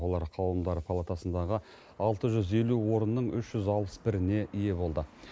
олар қауымдар палатасындағы алты жүз елу орынның үш жүз алпыс біріне ие болды